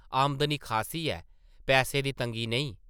आमदनी खासी ऐ ... पैसे दी तंगी नेईं ।